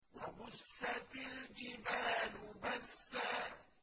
وَبُسَّتِ الْجِبَالُ بَسًّا